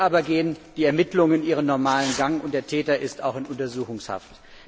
Hier aber gehen die Ermittlungen ihren normalen Gang, und der Täter ist auch in Untersuchungshaft.